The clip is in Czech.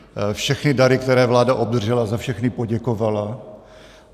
Všechny dary, které vláda obdržela, za všechny poděkovala.